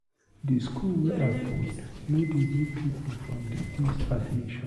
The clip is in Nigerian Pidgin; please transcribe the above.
Di school wey I put no dey give pipu from di east admission.